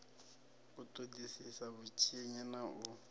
u ṱoḓisisa vhutshinyi na u